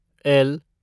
L